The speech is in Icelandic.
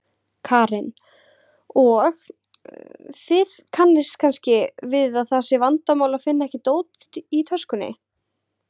Karen: Og, kannist þið við að það sé vandamál að finna ekki dót í töskunni?